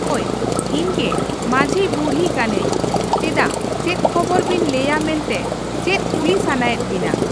ᱦᱳᱭ ᱤᱧᱜᱮ ᱢᱟᱺᱡᱷᱤ ᱵᱩᱲᱦᱤ ᱠᱟᱹᱱᱟᱹᱧ ᱪᱮᱫᱟᱜ ᱪᱮᱫ ᱠᱷᱳᱵᱚᱨ ᱵᱮᱱ ᱞᱟᱹᱭᱟ ᱢᱮᱱᱛᱮ ᱪᱮᱫ ᱠᱩᱞᱤ ᱥᱟᱱᱟᱭᱮᱫ ᱵᱤᱱᱟ᱾